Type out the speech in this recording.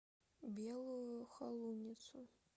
белую холуницу